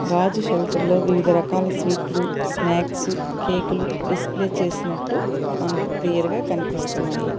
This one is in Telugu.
రాజు షెల్టర్ లో వివిధ రకాల స్వీట్లు స్నాక్సు కేకులు డిస్ప్లే చేసినట్టు మనకు క్లియర్ గా కన్పిస్తున్నాయి.